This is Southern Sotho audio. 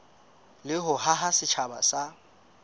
le ho haha setjhaba sa